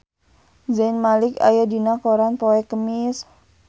Zayn Malik aya dina koran poe Kemis